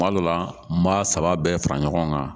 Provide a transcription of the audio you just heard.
Kuma dɔ la n b'a saba bɛɛ fara ɲɔgɔn kan